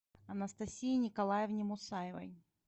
анастасии николаевне мусаевой